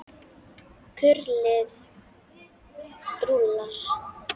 Kurlið rúllar.